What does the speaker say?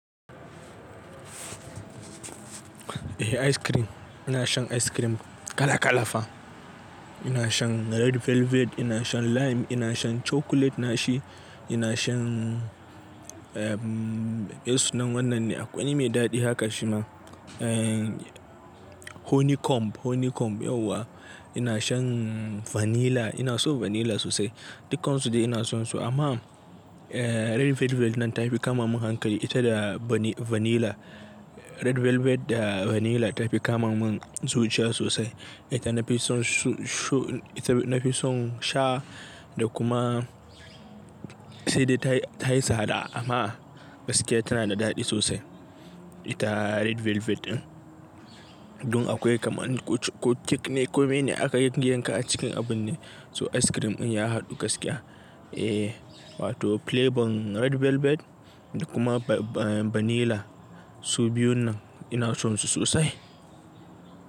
Eh ice kream. Ina shan ice cream kala-kala fa. Ina shan red velvet, ina shan lime, ina shan chocolate nashi, ina shan, me sunan wannan ne? Akwai wani me daɗi haka shi ma. Eh, honeycomb, honeycomb yauwa. Ina shan vanilla, ina so vanilla sosai. Dukansu dai ina son su amma, red velvet nan ta fi kama mun hankali ita da vanilla. Red velvet da vanilla ta fi kama mun zuciya sosai. Ita na fi son shu, ita na fi son sha, da kuma sai dai ta yi ta yi sada, amma gaskiya tana da daɗi sosai ita red velvet ɗin. Dun akwai kamar ko cake ne ko me ne aka yi yanka a cikin abun ne, so ice cream ɗin ya haɗu gaskiya. Eh, wato flavor red velvet da kuma ba, vanilla. Su biyun nan ina son su sosai.